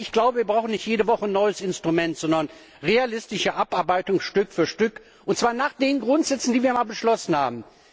Ich glaube, wir brauchen nicht jede Woche ein neues Instrument, sondern realistische Abarbeitung, Stück für Stück, und zwar nach den Grundsätzen, die wir einmal beschlossen haben.